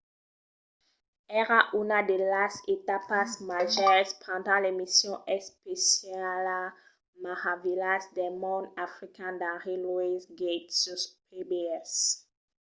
èra una de las etapas màgers pendent l'emission especiala meravilhas del mond african d'henry louis gates sus pbs